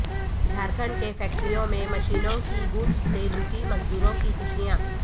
جھارکھنڈ کے فیکٹریوں میں مشینوں کی گونج سے لوٹی مزدوروں کی خوشیاں